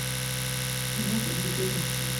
киноха дикая грация